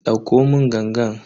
Dauko mun gangan.